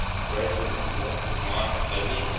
embraces yosemite valley